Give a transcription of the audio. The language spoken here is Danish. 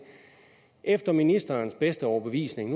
efter ministerens bedste overbevisning